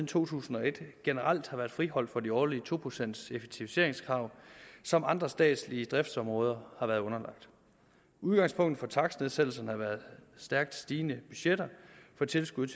to tusind og et generelt har været friholdt for de årlige to procents effektiviseringskrav som andre statslige driftsområder har været underlagt udgangspunktet for takstnedsættelserne har været stærkt stigende budgetter for tilskuddet